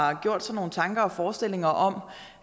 har gjort sig nogle tanker og forestillinger om